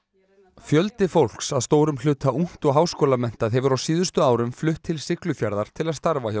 fjöldi fólks að stórum hluta ungt og háskólamenntað hefur á síðustu árum flutt til Siglufjarðar til að starfa hjá